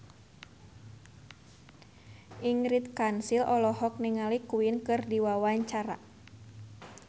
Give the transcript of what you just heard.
Ingrid Kansil olohok ningali Queen keur diwawancara